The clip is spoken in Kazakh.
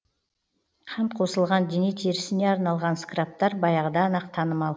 қант қосылған дене терісіне арналған скрабтар баяғыдан ақ танымал